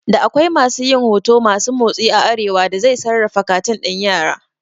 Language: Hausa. Da akwai masu yin huto masu motsi a arewa da zai sarrafa katun ɗin yara